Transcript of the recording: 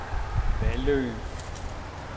Vallø